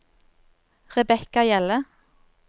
Rebekka Hjelle